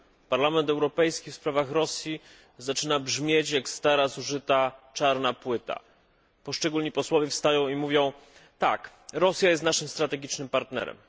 Parlament Europejski w sprawach Rosji zaczyna brzmieć jak stara, zużyta czarna płyta. Poszczególni posłowie wstają i mówią tak Rosja jest naszym strategicznym partnerem.